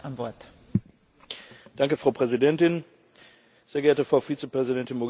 Frau Präsidentin, sehr geehrte Frau Vizepräsidentin Mogherini, liebe Kolleginnen und Kollegen!